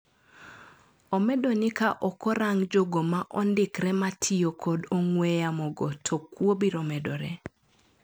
Omedo ni ka okorang jogo maondikre matio kod ong'we yamo go to kwo biromedore.